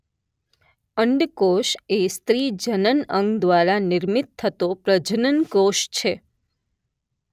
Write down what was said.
અંડ કોષ એ સ્ત્રી જનન અંગ દ્વારા નિર્મિત થતો પ્રજનન કોષ છે